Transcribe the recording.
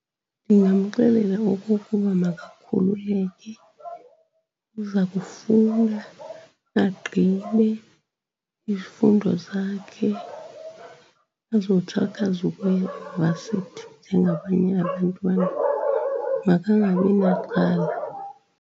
Ndingamxelela okokuba makakhululeke, uza kufunda agqibe izifundo zakhe azothi akwazi ukuya e-varsity njengabanye abantwana, makangabinaxhala.